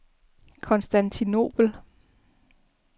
Konstantinobel